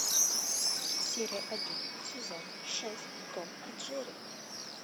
серия один сезон шесть том и джерри